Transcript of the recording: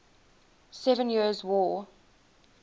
seven years war